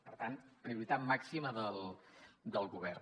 per tant prioritat màxima del govern